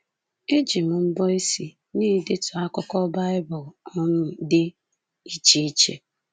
Eji m mbọ isi na-edetu akụkụ Baịbụl um dị iche iche.